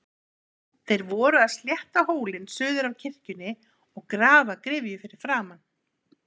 Þeir voru að slétta hólinn suður af kirkjunni og grafa gryfju fyrir framan.